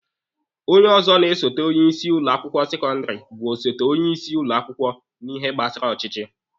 Onye ọzọ na-esote onye isi ụlọ akwụkwọ sekọndịrị bụ osote onye isi ụlọ akwụkwọ n'ihe gbasara ọchịchị.